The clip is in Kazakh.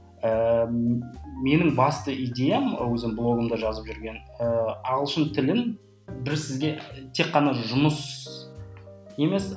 ііі менің басты идеям өзім блогымда жазып жүрген ііі ағылшын тілін біз сізге тек қана жұмыс емес